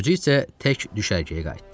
Özü isə tək düşərgəyə qayıtdı.